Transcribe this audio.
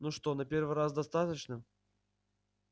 ну что на первый раз достаточно